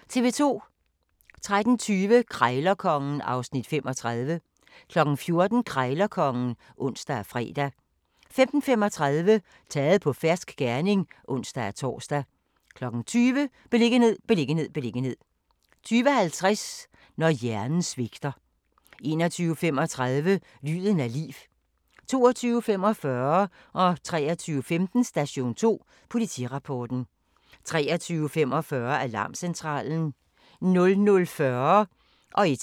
13:20: Krejlerkongen (Afs. 35) 14:00: Krejlerkongen (ons og fre) 15:35: Taget på fersk gerning (ons-tor) 20:00: Beliggenhed, beliggenhed, beliggenhed 20:50: Når hjernen svigter 21:35: Lyden af liv 22:45: Station 2: Politirapporten 23:15: Station 2: Politirapporten 23:45: Alarmcentralen 00:40: Grænsepatruljen